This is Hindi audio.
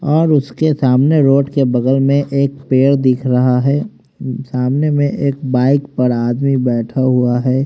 और उसके सामने रोड के बगल में एक पेड़ दिख रहा है सामने में एक बाइक पर आदमी बैठा हुआ है।